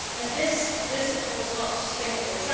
This is, of course, not sustainable.